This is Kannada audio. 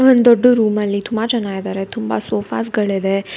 ಒಂದ ದೊಡ್ಡ ರೂಮಲ್ಲಿ ತುಮ ಜನ ಇದಾರೆ ತುಂಬ ಸೋಫಾಸ ಗಳಿದೆ.